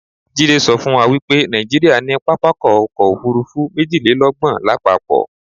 Jídé sọ fún wa wipé Nàìjíríà ní pápákọ̀ ọ̀kọ òfurufú méjìlélọ́gbọ̀n lápapọ̀